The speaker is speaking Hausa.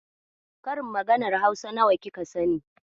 Karin maganar Hausa nawa kika sani?